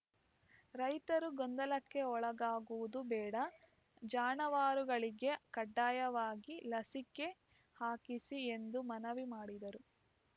ರೈತರು ಗೊಂದಲಕ್ಕೆ ಒಳಗಾಗುವುದು ಬೇಡ ಜಾನುವಾರುಗಳಿಗೆ ಕಡ್ಡಾಯವಾಗಿ ಲಸಿಕೆ ಹಾಕಿಸಿ ಎಂದು ಮನವಿ ಮಾಡಿದರು